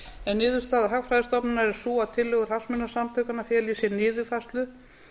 en niðurstaða hagfræðistofnunar er sú að tillögur hagsmunasamtakanna feli í sér niðurfærslu